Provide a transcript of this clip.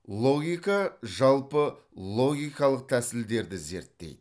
логика жалпы логикалық тәсілдерді зерттейді